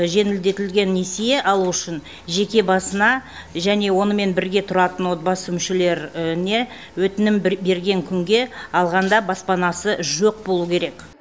жеңілдетілген несие алу үшін жеке басына және онымен бірге тұратын отбасы мүшелеріне өтінім бір берген күнге алғанда баспанасы жоқ болуы керек